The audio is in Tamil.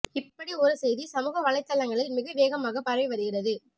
இப்படி ஒரு செய்தி சமூக வலைத்தளங்களில் மிக வேகமாக பரவி வருகிறது